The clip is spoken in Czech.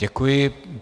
Děkuji.